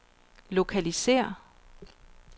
lokalisér